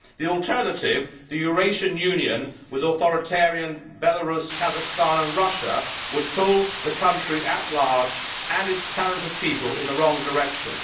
The alternative, the Eurasian Union, with authoritarian Belarus, Kazakhstan and Russia, would pull the country at large, and its talented people, in the wrong direction.